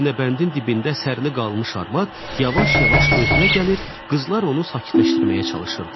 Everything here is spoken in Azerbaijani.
Aynabəndin dibində sərli qalmış arvad yavaş-yavaş özünə gəlir, qızlar onu sakitləşdirməyə çalışırdılar.